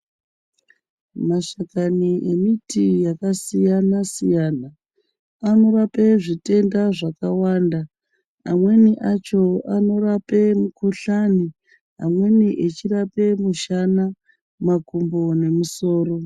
Mashakani emiti yakasiyana siyana anorape zvitenda zvakawanda amweni acho anorape mukuhlani amweni achirape mushana , makumbo nemusoro.